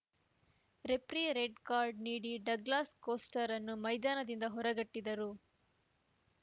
referee red card ನೀಡಿ Douglas ಕೋಸ್ಟಾರನ್ನು ಮೈದಾನದಿಂದ ಹೊರಗಟ್ಟಿದರು